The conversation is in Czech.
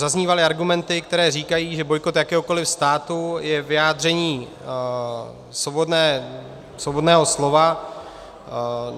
Zaznívaly argumenty, které říkají, že bojkot jakéhokoli státu je vyjádření svobodného slova.